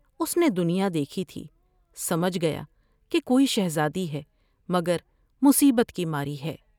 اس نے دنیا دیکھی تھی سمجھ گیا کہ کوئی شہزادی سے مگر مصیبت کی ماری ہے ۔